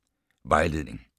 Vejledning: